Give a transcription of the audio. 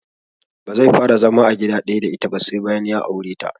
Bazai fara zama a gida ɗaya da ita ba sai bayan ya aure ta